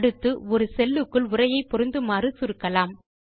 அடுத்து ஒரு செல் க்குள் உரையை பொருந்துமாறு சுருக்கலாம்